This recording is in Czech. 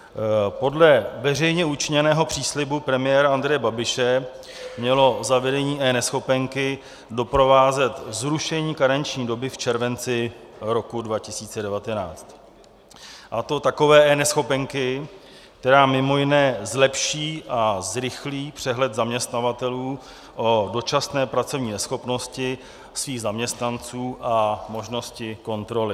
Podle veřejně učiněného příslibu premiéra Andreje Babiše mělo zavedení eNeschopenky doprovázet zrušení karenční doby v červenci roku 2019, a to takové eNeschopenky, která mimo jiné zlepší a zrychlí přehled zaměstnavatelů o dočasné pracovní neschopnosti svých zaměstnanců a možnosti kontroly.